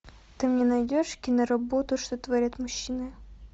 ты мне найдешь киноработу что творят мужчины